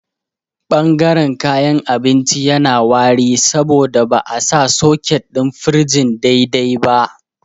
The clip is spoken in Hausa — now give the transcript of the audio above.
Ɓangaren kayan abinci yana wari saboda ba'a sa soket ɗin firijin daidai ba